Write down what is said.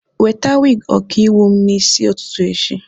Weta wig ọkaiwu m n'isi ụtụtụ echi!